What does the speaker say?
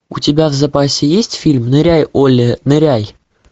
у тебя в запасе есть фильм ныряй олли ныряй